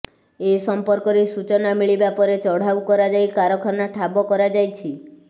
ଏ ସଂପର୍କରେ ସୂଚନା ମିଳିବା ପରେ ଚଢ଼ାଉ କରାଯାଇ କାରଖାନା ଠାବ କରାଯାଇଛି